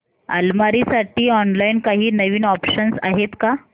अलमारी साठी ऑनलाइन काही नवीन ऑप्शन्स आहेत का